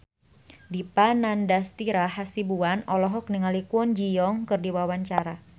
Dipa Nandastyra Hasibuan olohok ningali Kwon Ji Yong keur diwawancara